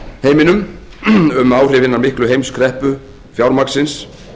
heiminum um áhrif hinnar miklu heimskreppu fjármagnsins